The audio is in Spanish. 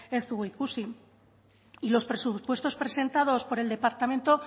ez dugu ikusi y los presupuestos presentados por el departamento